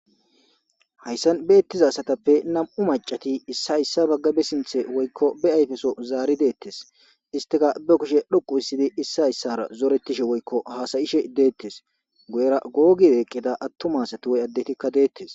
hayssan beettizasatappe nam7u macati issi hayssa baggabe sinthe woykko be ayfeso zaari deettes istika be kushe dhoqu issidi issi hayssara zorettishe woykko haasayishe deettes goyera googideqqida attumasati woy addetikka deettes